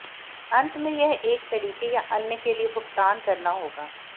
अंत में यह एक तरीके या अन्य के लिए भुगतान करना होगा